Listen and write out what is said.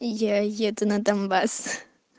я еду на донбасс